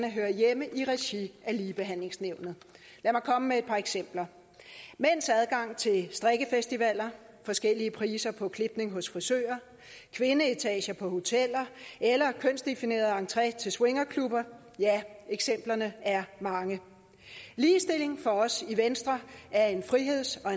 hører hjemme i regi af ligebehandlingsnævnet lad mig komme med et par eksempler mænds adgang til strikkefestivaler forskellige priser på klipning hos frisører kvindeetager på hoteller eller kønsdefineret entré til swingerklubber ja eksemplerne er mange ligestilling for os i venstre er en friheds og